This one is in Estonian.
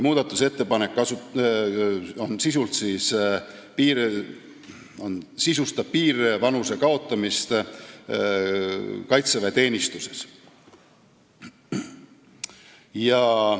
Muudatusettepanek sisustab piirvanuse kaotamist kaitseväeteenistuses.